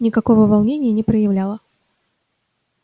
никакого волнения не проявляла